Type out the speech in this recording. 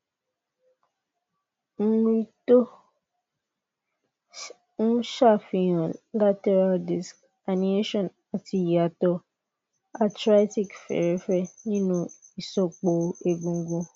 mri tó ń ṣàfihàn lateral disc herniation àti ìyàtọ arthritic fẹẹrẹfẹ nínú ìsòpọ egungun